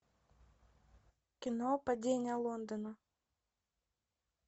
кино падение лондона